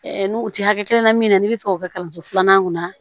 n'u tɛ hakɛ kelen na min na n'i bɛ fɛ k'o kɛ kalanso filanan kunna